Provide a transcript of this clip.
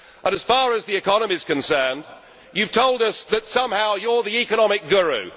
As far as the economy is concerned, you have told us that somehow you are the economic guru